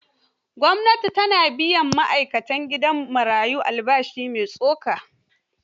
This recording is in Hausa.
Gwamnati ta na biyan ma'aikatan gidan marayo albashi mai tsoka.